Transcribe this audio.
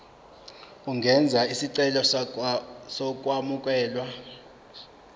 ungenza isicelo sokwamukelwa